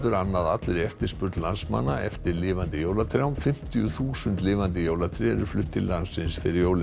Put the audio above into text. annað allri eftirspurn landsmanna eftir lifandi jólatrjám fimmtíu þúsund lifandi jólatré eru flutt til landsins fyrir jólin